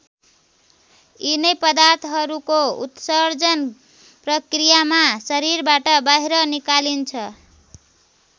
यिनै पदार्थहरूको उत्सर्जन प्रक्रियामा शरीरबाट बाहिर निकालिन्छ।